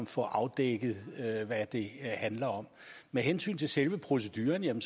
få afdækket hvad det handler om med hensyn til selve proceduren